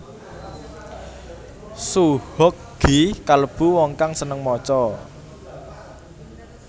Soe Hok Gie kalêbu wong kang sênêng maca